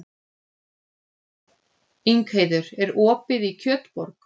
Ingheiður, er opið í Kjötborg?